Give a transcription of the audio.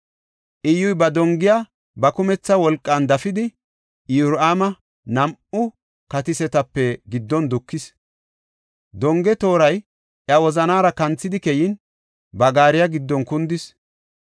Iyyuy, ba dongiya ba kumetha wolqan dafidi, Iyoraama nam7u katisotape giddon dukis. Donge tooray iya wozanaara kanthidi keyin, ba gaariya giddon kundis.